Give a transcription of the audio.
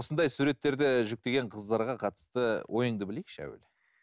осындай суреттерді жүктеген қыздарға қатысты ойыңды білейікші әуелі